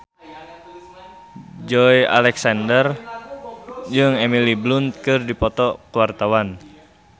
Joey Alexander jeung Emily Blunt keur dipoto ku wartawan